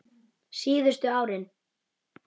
Síðustu árin